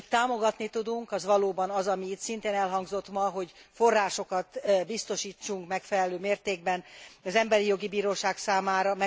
Amit támogatni tudunk, az valóban az, ami itt szintén elhangzott ma, hogy forrásokat biztosítsunk megfelelő mértékben az Emberi Jogi Bíróság számára.